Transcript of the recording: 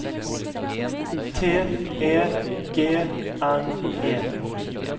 T E G N E